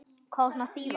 Hvað á svona að þýða